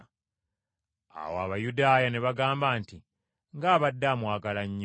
Awo Abayudaaya ne bagamba nti, “Ng’abadde amwagala nnyo!”